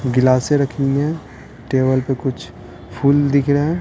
गिलासें रखी हुई है टेबल पे कुछ फूल दिख रहे हैं।